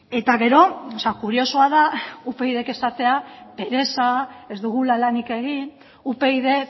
eta gero kuriosoa da upydk esatea pereza ez dugula lanik egin upyd